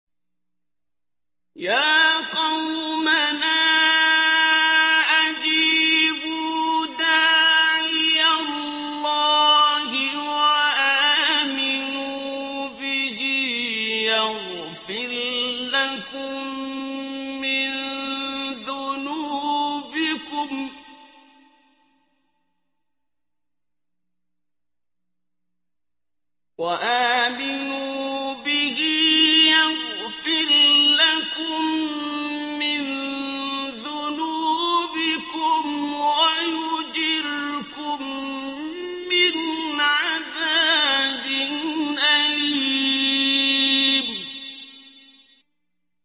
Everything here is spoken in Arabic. يَا قَوْمَنَا أَجِيبُوا دَاعِيَ اللَّهِ وَآمِنُوا بِهِ يَغْفِرْ لَكُم مِّن ذُنُوبِكُمْ وَيُجِرْكُم مِّنْ عَذَابٍ أَلِيمٍ